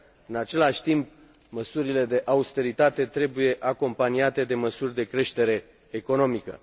În același timp, măsurile de austeritate trebuie acompaniate de măsuri de creștere economică.